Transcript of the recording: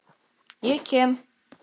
SKÚLI: Ég kem.